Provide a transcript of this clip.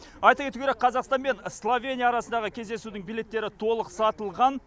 айта кету керек қазақстан мен словения арасындағы кездесудің билеттері толық сатылған